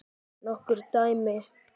Nokkur dæmi?